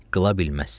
Qıla bilməzsən.